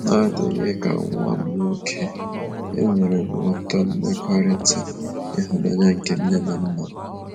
N'adịghị ka nwa m nwoke, enwerem ụtọ mmekọrịta ịhụnanya nke nne na nna m.